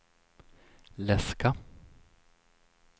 läska